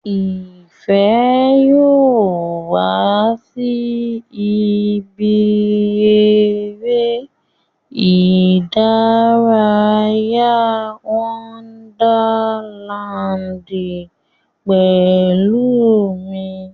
Ìfẹ́ yóò wá sí ibi eré ìdárayá Wonderland pẹ̀lú mi